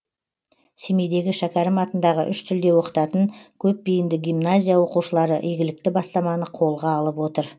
семейдегі шәкәрім атындағы үш тілде оқытатын көпбейінді гимназия оқушылары игілікті бастаманы қолға алып отыр